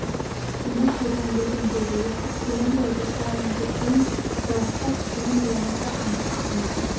оны қайдан білдің деді естіп келем ғой жасырайын деп пе ең жарысқа түспеген болмаса анық ақын